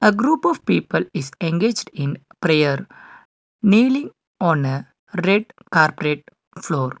a group of people is engaged in prayer nailing on a red carprate floor.